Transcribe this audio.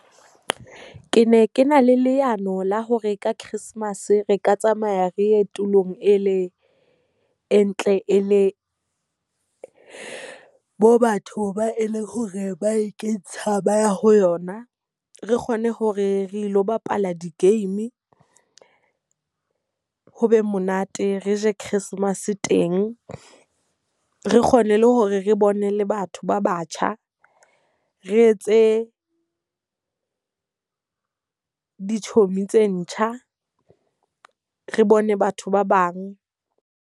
Ke ne ke na le leano la hore ka Christmas re ka tsamaya re ye tulong e le e ntle e le bo batho ba eleng hore ba e ke tshaba ho yona. Re kgone hore re lo bapala di-game, ho be monate, re je Christmas teng. Re kgone le hore re bone le batho ba batjha, re etse di-chomi tse ntjha, re bone batho ba bang.